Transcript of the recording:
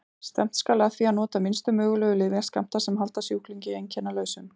Stefnt skal að því að nota minnstu mögulegu lyfjaskammta sem halda sjúklingi einkennalausum.